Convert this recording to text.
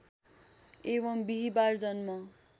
एवम् बिहीबार जन्म